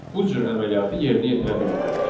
Bu cür əməliyyatı yerinə yetirə bilmərik.